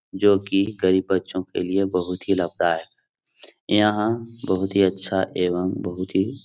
जोकि गरीब बच्चों के लिए बहुत ही लाभदायक यहाँ बहुत ही अच्छा एवं बहुत ही --